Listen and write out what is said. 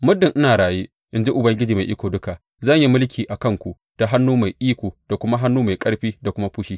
Muddin ina raye, in ji Ubangiji Mai Iko Duka, zan yi mulki a kanku da hannu mai iko da kuma hannu mai ƙarfi da kuma fushi.